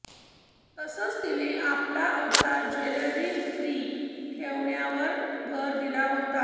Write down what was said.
तसंच तिनं आपला अवतार ज्वेलरी फ्री ठेवण्यावर भर दिला होता